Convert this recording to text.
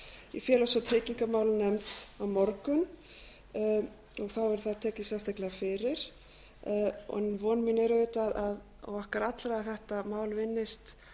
í félags og tryggingamálanefnd á morgun og þá verður það tekið sérstaklega fyrir von mín og okkar allra er auðvitað að þetta mál vinnist